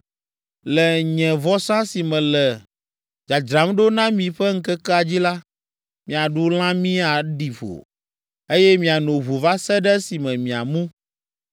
Le nye vɔsa si mele dzadzram ɖo na mi ƒe ŋkekea dzi la, miaɖu lãmi aɖi ƒo, eye miano ʋu va se ɖe esime miamu.